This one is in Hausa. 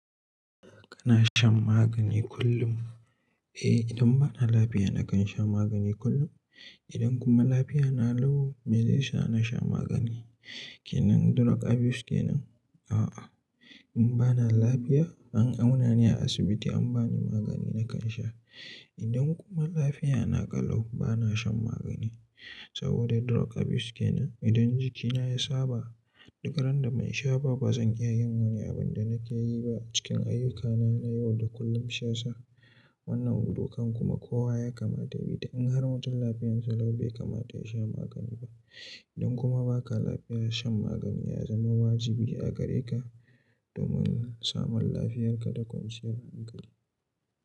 Kana shan magani kullum? Eh, idan bana lafiya nakan sha magani kullum. Idan kuma lafiyata na lau, me zai sa na sha magani? Ke nan drug abuse ke nan? A'a. In bana lafiya, an auna ni a asibiti an bani magani nakan sha. Idan kuma lafiyata na ƙalau, bana shan magani saboda drug abuse ke nan. Idan jikina ya saba duk randa ban sha ba, ba zan iya yin wani abin da nake yi ba a cikin ayyukana na yau da kullum sha sha. Wannan hudukan kuma kowa ya kamata yayi ta. In har mutum lafiyarsa lau bai kamata yasha magani ba. Idan kuma baka lafiya shan magani ya zama wajibi a gareka domin samun lafiyarka da kwanciyar hankali.